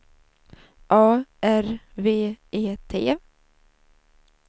A R V E T